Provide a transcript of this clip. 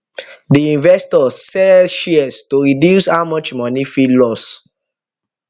the investor sell shares to reduce how much money fit loss